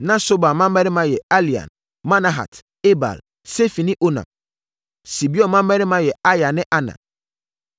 Na Sobal mmammarima yɛ Alian, Manahat, Ebal, Sefi ne Onam. Sibeon mmammarima yɛ Aya ne Ana.